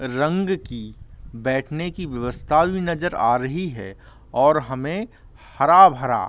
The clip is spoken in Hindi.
रंग की बैठने की व्यवस्था भी नजर आ रही है और हमें हरा-भरा --